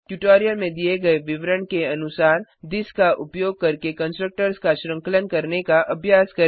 tutorial में दिए गए विवरण के अनुसार थिस का उपयोग करके कंस्ट्रक्टर्स का श्रृंखलन करने का अभ्यास करें